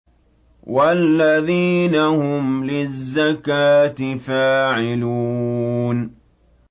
وَالَّذِينَ هُمْ لِلزَّكَاةِ فَاعِلُونَ